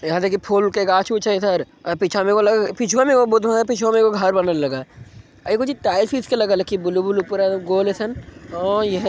यहाँ देखीं फूल के गाछ उछ है इधर पीछा में लगा पिछुआ में पिछुआ में बोधु है एगो घर बनले लगा है इकोजी टाइल्स विल्स कि ब्लू - ब्लू पूरा गोल एहीसन ओ इहे ----